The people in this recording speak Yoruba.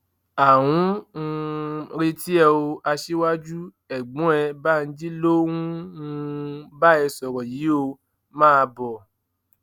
à ń um retí ẹ o aṣíwájú ẹgbọn ẹ banji ló ń um bá ẹ sọrọ yìí ó máa bọ